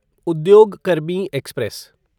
उद्योग कर्मी एक्सप्रेस